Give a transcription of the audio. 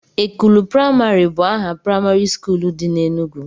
Ekulu praimarị bụ aha praimarị skuul dị na Enugwu